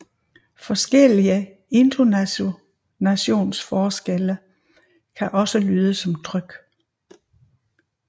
Forskellige intonationsforskelle kan også lyde som tryk